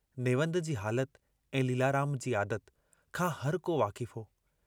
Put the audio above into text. नेवंद जी हालत ऐं लीलाराम जी आदत खां हरको वाक़िफ़ु हो।